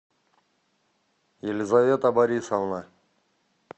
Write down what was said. елизавета борисовна